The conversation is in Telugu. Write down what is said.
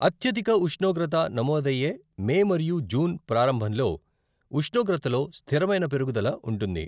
అత్యధిక ఉష్ణోగ్రత నమోదయ్యే మే మరియు జూన్ ప్రారంభంలో ఉష్ణోగ్రతలో స్థిరమైన పెరుగుదల ఉంటుంది.